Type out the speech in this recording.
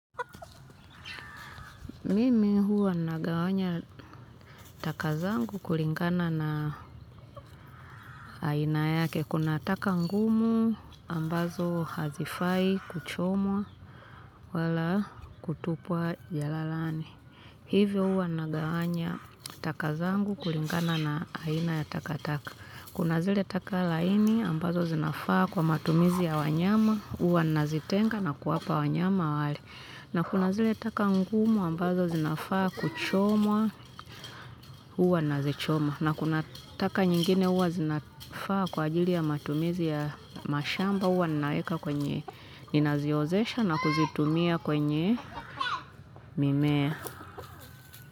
Mimi huwa nagawanya taka zangu kulingana na aina yake. Kuna taka ngumu ambazo hazifai kuchomwa wala kutupwa jalalani. Hivyo huwa nagawanya taka zangu kulingana na aina ya takataka. Kuna zile taka laini ambazo zinafaa kwa matumizi ya wanyama. Huwa nazitenga na kuwapa wanyama wale. Na kuna zile taka ngumu ambazo zinafaa kuchomwa huwa nazichoma na kuna taka nyingine huwa zinafaa kwa ajili ya matumizi ya mashamba huwa ninaweka kwenye, ninaziozesha na kuzitumia kwenye mimea.